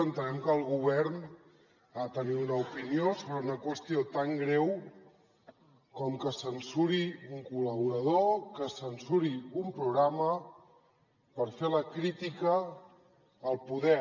entenem que el govern ha de tenir una opinió sobre una qüestió tan greu com que es censuri un col·laborador que es censuri un programa per fer la crítica al poder